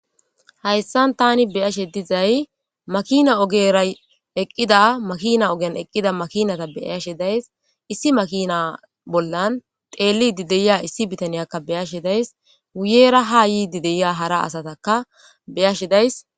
Hayssan tani beyashe dizay makina ogera eqqida makina ogan eqqida makinata beaashe days issi makina bollan teellidi deya issi bitaniyakka beyashe days wuyera ha yii dideya hara asataka beyashe days